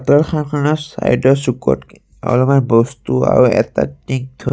তাঁতশালখনৰ ছাইডৰ চুকত অলমান বস্তু আৰু এটা টিং থৈ--